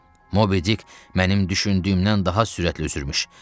Mobi Dick mənim düşündüyümdən daha sürətli üzürübmüş.